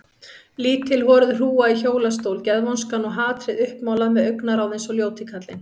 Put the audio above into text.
Lítil horuð hrúga í hjólastól, geðvonskan og hatrið uppmálað með augnaráð eins og ljóti kallinn.